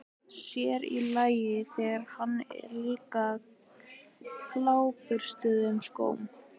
Sér í lagi, þegar hann er líka á gljáburstuðum skóm.